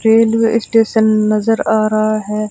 Railway station नजर आ रहा है।